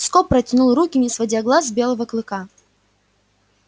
скоп протянул руки не сводя глаз с белого клыка